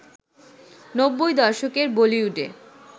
নব্বই দশকের বলিউডে